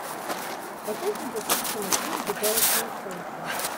поставь мне по быстрому фильм безжалостное солнце